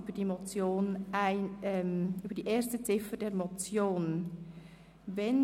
Danach stimmen wir über die erste Ziffer der Motion Jost ab.